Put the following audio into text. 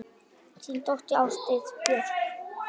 Þín dóttir, Ásdís Björk.